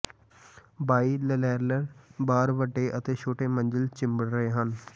ਬਾਈਲਰੈਿਰਲ ਬਾਰ ਵੱਡੇ ਅਤੇ ਛੋਟੇ ਮੰਜ਼ਿਲ ਚਿੰਬੜ ਰਹੇ ਹਨ